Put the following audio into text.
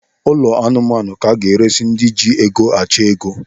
Ụlọ anụmanụ ka aga-eresi ndị ji ego achọ ego.